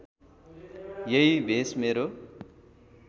यही भेष मेरो